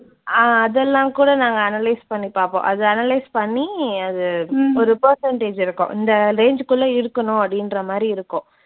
ஆஹ் அதெல்லாம் கூட நாங்க analyze பண்ணி பார்ப்போம். அதை analyze பண்ணி அது ஒரு percentage இருக்கும். இந்த range உக்குள்ள இருக்கணும் அப்படின்றமாதிரி இருக்கும்.